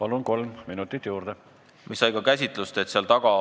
Palun, kolm minutit juurde!